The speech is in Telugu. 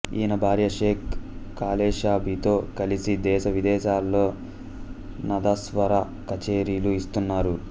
ఈయన భార్య షేక్ కాలేషాబితో కలిసి దేశ విదేశాలలో నాదస్వర కచేరీలు ఇస్తున్నారు